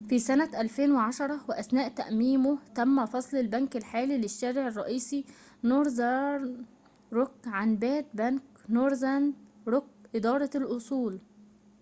في سنة 2010 وأثناء تأميمه تم فصل البنك الحالي للشارع الرئيسي نورذرن روك عن باد بنك، نورذن روك إدارة الأصول